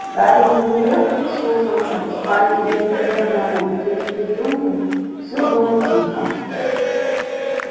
гарри замерев прислушался в спальне дяди вернона и тёти петуньи всё было тихо